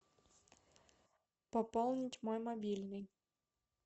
пополнить мой мобильный